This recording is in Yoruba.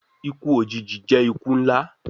Iku ojiji jẹ iku nla